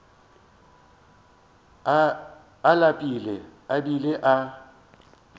a lapile a bile a